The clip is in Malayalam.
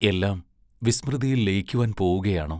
എല്ലാം വിസ്മൃതിയിൽ ലയിക്കുവാൻ പോവുകയാണോ?